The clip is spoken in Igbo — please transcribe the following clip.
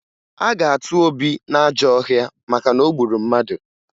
A ga-atụba Obi n'ajọ ọhịa maka na o gburu mmadụ